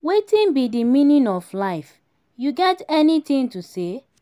wetin be di meaning of life you get any thing to say?